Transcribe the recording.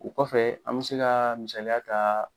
O kɔfɛ an bɛ se ka misaliya ta